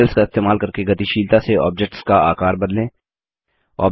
handles का इस्तेमाल करके गतिशीलता से ऑब्जेक्ट्स का आकार बदलें